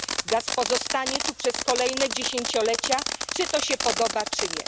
Gaz pozostanie tu przez kolejne dziesięciolecia, czy to się podoba, czy nie.